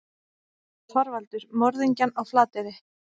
ÞORVALDUR: Morðingjann á Flateyri.